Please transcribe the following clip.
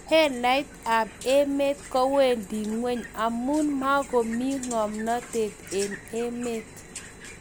halyet ab emet kowendi ngweny amu makomi ngomnatet eng' emet